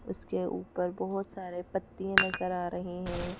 उसके ऊपर बहोत सारे पत्तिये नजर आ रहे हैं।